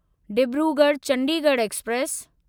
Dibrugarh Chandigarh express